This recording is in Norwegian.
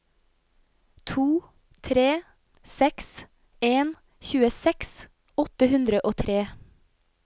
to tre seks en tjueseks åtte hundre og tre